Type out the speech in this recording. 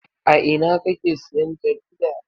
A ina kake siyan jarida?